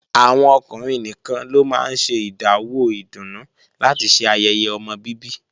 Àwọn ọkùnrin nìkan ló máa ń ṣe ìdáwó ìdùnnú láti ṣe ayẹyẹ ọmọ bíbí